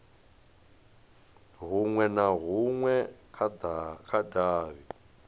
hunwe na hunwe kha davhi